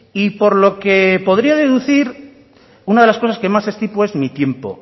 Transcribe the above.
y por lo que podría deducir una de las cosas que más estimo es mi tiempo